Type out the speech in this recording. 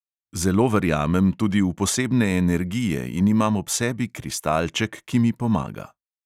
Zelo verjamem tudi v posebne energije in imam ob sebi kristalček, ki mi pomaga.